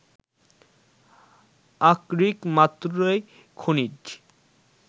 আকরিক মাত্রেই খনিজ